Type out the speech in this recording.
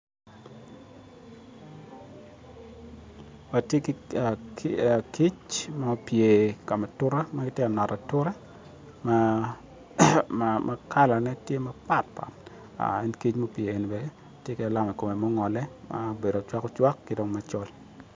Watye ki kic ma gupye ka ma ature ma gitye ka noto ature ma kala ne tye mapatpat en ka ma pyeni bene tye ki alama ikome ma ongole ma obedo ocwak ocwak ki dong macol